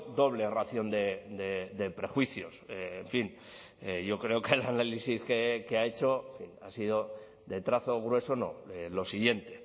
doble ración de prejuicios en fin yo creo que el análisis que ha hecho ha sido de trazo grueso no lo siguiente